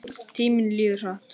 Tíminn líður hratt.